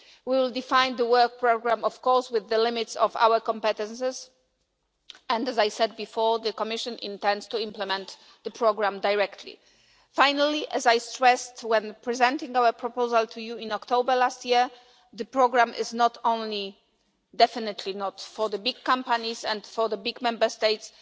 We will define the work programme, of course, with the limits of our competitors and, as I said before, the Commission intends to implement the programme directly. Finally, as I stressed when presenting our proposal to you in October last year, the programme is not only definitely not for the big companies and for the big Member States.